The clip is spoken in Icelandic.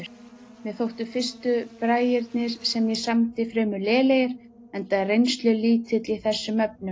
Mér þóttu fyrstu bragirnir, sem ég samdi, fremur lélegir enda reynslulítill í þessum efnum.